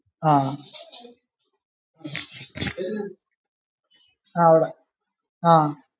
ആ ആഹ് ആ അവിടെ